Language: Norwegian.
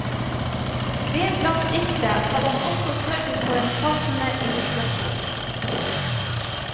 Vedlagt diktet hadde han også sørget for en passende illustrasjon.